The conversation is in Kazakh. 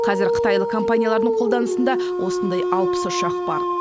қазір қытайлық компаниялардың қолданысында осындай алпыс ұшақ бар